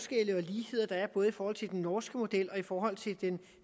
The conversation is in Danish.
ligheder der er både i forhold til den norske model og i forhold til den